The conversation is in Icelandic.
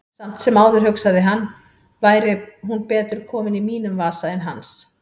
Samt sem áður, hugsaði hann, væri hún betur komin í mínum vasa en hans.